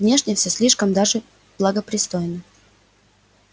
внешне все слишком даже благопристойно